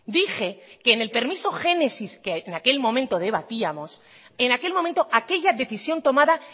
dije que en el permiso génesis que en aquel momento debatíamos en aquel momento aquella decisión tomada